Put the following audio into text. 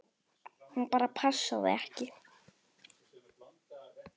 Hún bara passaði ekki.